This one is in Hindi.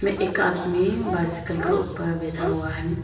एक आदमी बाइसिकल के ऊपर बैठा हुआ है।